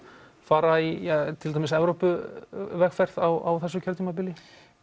fara í til dæmis Evrópuvegferð á þessu kjörtímabili